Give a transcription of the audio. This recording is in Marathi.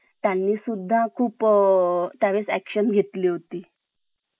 त्यांनी सुद्धा खूप अ action घेतली होती